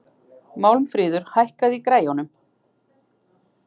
Málmfríður, hækkaðu í græjunum.